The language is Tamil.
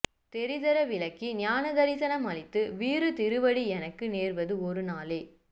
தெரிதர விளக்கி ஞான தரிசநம் அளித்து வீறு திருவடி எனக்கு நேர்வது ஒரு நாளே